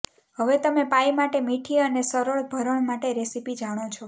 હવે તમે પાઇ માટે મીઠી અને સરળ ભરણ માટે રેસીપી જાણો છો